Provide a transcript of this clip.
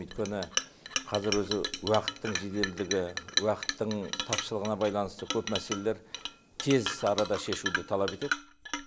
өйткені қазір өзі уақыттың жеделдігі уақыттың тапшылығына байланысты көп мәселелер тез арада шешуді талап етеді